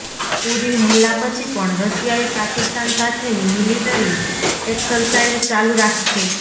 ઉરી હમલા પછી પણ રશિયાએ પાકિસ્તાન સાથેની મિલિટરી એક્સરસાઇઝ ચાલુ રાખી છે